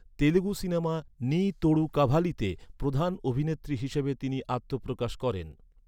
Telugu cinema ‘নি তোড়ু কাভালিতে’ প্রধান অভিনেত্রী হিসেবে তিনি আত্মপ্রকাশ করেন।